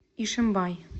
ишимбай